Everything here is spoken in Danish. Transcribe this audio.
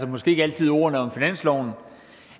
måske ikke altid ordene om finansloven